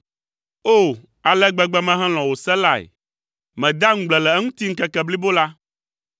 O, ale gbegbe mehelɔ̃ wò se lae! Medea ŋugble le eŋuti ŋkeke blibo la.